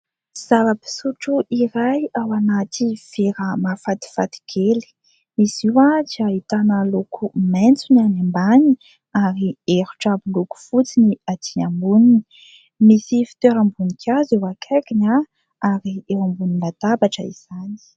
Zavapisotro iray ao anaty vera mahafatifaty kely. Izy io dia ahitana loko maitso ny any ambaniny ary erotra miloko fotsy ny aty amboniny. Misy fitoeram-bonikazo eo akaikiny ary eo ambonina latabatra izany.